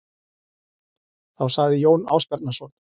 Þá sagði Jón Ásbjarnarson